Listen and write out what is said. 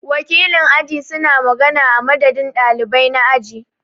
Wakilin aji su na magana a madadin ɗalibai na aji.